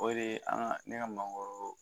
O de ye an ka ne ka mangoro